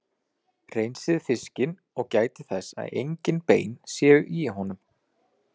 Hreinsið fiskinn og gætið þess að engin bein séu í honum.